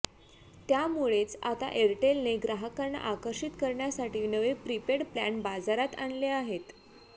त्यामुळेच आता एअरटेलने ग्राहकांना आकर्षित करण्यासाठी नवे प्रीपेड प्लॅन बाजारात आणले आहेत